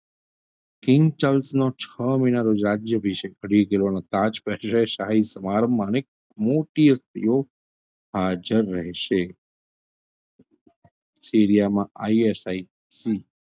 નો છો મહિનાનો રાજય અભિષેક અઢી કિલોનો તાજ પહેરશે શાહી સમાંરોહ માણી મોટી હસ્તીઓ હાજર રહેશે સીરિયામાં ISI હમ